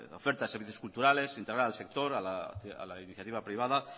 ofertas de servicios culturales integrar al sector a la iniciativa privada